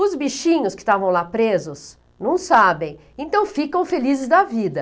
Os bichinhos que estavam lá presos não sabem, então ficam felizes da vida.